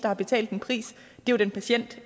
har betalt en pris den patient